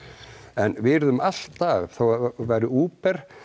en við yrðum alltaf þó við værum Uber